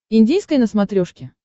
индийское на смотрешке